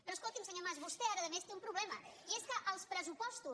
però escolti’m senyor mas vostè ara a més té un problema i és que els pressupostos